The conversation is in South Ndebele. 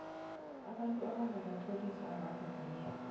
abantu abangakatloliswa abakavunyelwa